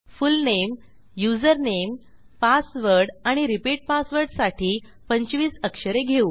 full name username password आणि repeat पासवर्डसाठी 25 अक्षरे घेऊ